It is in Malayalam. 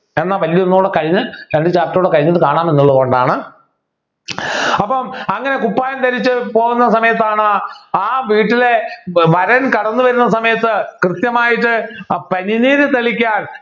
എന്നാ വല്യ ഒന്ന് കൂടെ കഴിഞ്ഞ് രണ്ടു chapter കൂടെ കഴിഞ്ഞിട്ട് കാണാമെന്നുള്ളതുകൊണ്ടാണ് അപ്പോ അങ്ങനെ കുപ്പായം ധരിച്ച് പോകുന്ന സമയത്താണ് ആ വീട്ടിലെ വരൻ കടന്നുവരുന്ന സമയത്ത് കൃത്യമായിട്ട് ഏർ പനിനീര് തളിക്കാൻ